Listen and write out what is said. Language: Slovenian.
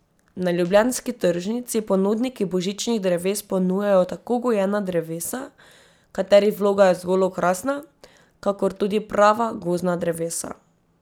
Na ljubljanski tržnici ponudniki božičnih dreves ponujajo tako gojena drevesa, katerih vloga je zgolj okrasna, kakor tudi prava gozdna drevesa.